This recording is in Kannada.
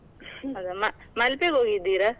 ಅದೇ ಮ~ ಮಲ್ಪೆಗ್ ಹೋಗಿದ್ದೀರಾ?